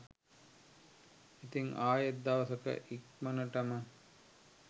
ඉතිං අයෙත් දවසක ඉක්මනටම